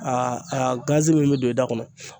a gazi min bɛ don i da kɔnɔ.